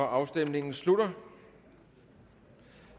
afstemningen slutter